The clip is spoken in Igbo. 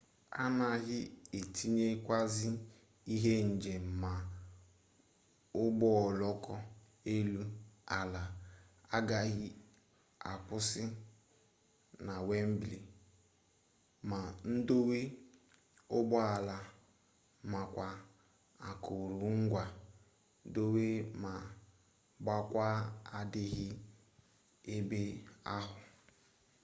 anaghị etinyekwasị ihe njem ma ụgbọoloko elu ala agaghị akwụsị na wembli ma ndowe ụgbọala makwa akụrụngwa dowe ma gbakwaa adịghị ebe ahụ